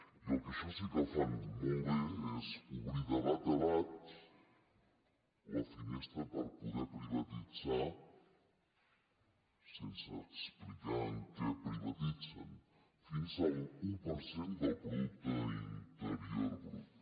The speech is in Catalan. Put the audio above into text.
i el que això sí que fan molt bé és obrir de bat a bat la finestra per poder privatitzar sense explicar en què privatitzen fins a l’un per cent del producte interior brut